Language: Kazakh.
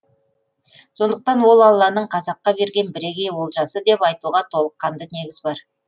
сондықтан ол алланың қазаққа берген бірегей олжасы деп айтуға толыққанды негіз бар